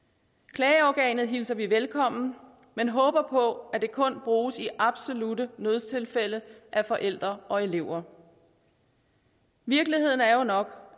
klageorganet hilser vi velkommen men håber på at det kun bruges i absolutte nødstilfælde af forældre og elever virkeligheden er jo nok